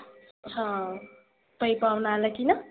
हां कई पाव्हना आला की ना